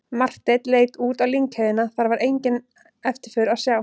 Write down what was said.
Marteinn leit út á lyngheiðina, þar var enga eftirför að sjá.